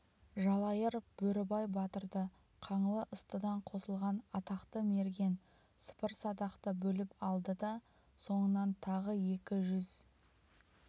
жалайыр бөрібай батырды қаңлы-ыстыдан қосылған атақты мерген сыпырасадақты бөліп алды да соңынан тағы екі жүз